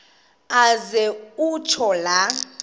aze kutsho la